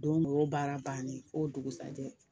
Don nin o y'o baara bannen ye f'o dugusajɛ